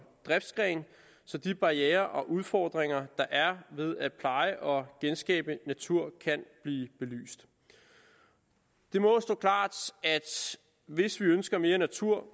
driftsgren så de barrierer og udfordringer der er ved at pleje og genskabe natur kan blive belyst det må stå klart at hvis vi ønsker mere natur